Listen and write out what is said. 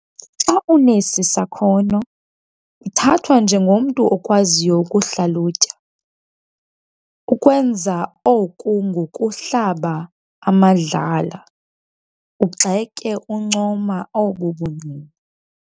Xa unesi sakhono, uthathwa njengomntu okwaziyo ukuhlalutya, ukwenza oku ngokuhlaba amadlala, ugxeke uncoma obu bungqina.